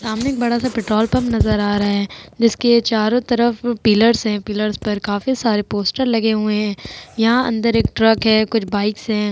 सामने एक बड़ा सा पेट्रोल पंप नजर आ रहा है। जिसके चारों तरफ पिलर्स हैं। पिलर्स पर काफी सारे पोस्टर लगे हुए हैं। यहां अंदर एक ट्रक है। कुछ बाइकस हैं।